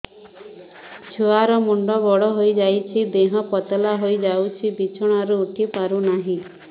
ଛୁଆ ର ମୁଣ୍ଡ ବଡ ହୋଇଯାଉଛି ଦେହ ପତଳା ହୋଇଯାଉଛି ବିଛଣାରୁ ଉଠି ପାରୁନାହିଁ